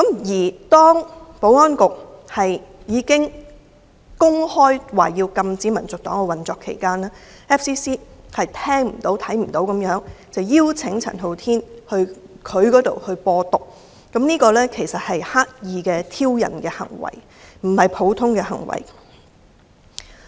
在保安局公開宣布將禁止香港民族黨運作後 ，FCC 視而不見、聽而不聞，仍然邀請陳浩天到 FCC" 播獨"，這是刻意的挑釁行為。